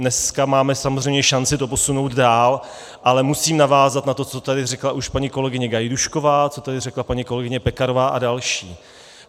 Dneska máme samozřejmě šanci to posunout dál, ale musím navázat na to, co tady říkala už paní kolegyně Gajdůšková, co tady řekla paní kolegyně Pekarová a další.